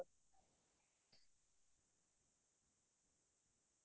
হয় হয় শুবে ভাল লাগিল তুমাৰ লগত কথা পাতি